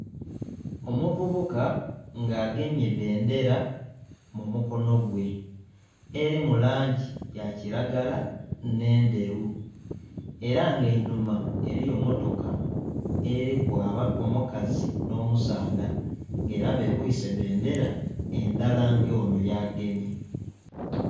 Omuvubuka nga agemye bbendera mumukono gwe eri mulangi yakiragala n'endheru era nga einhuma eriyo mmotoka eriku omukazi n'omusaadha nga era babwise bbendera endhala nga ono yagemye.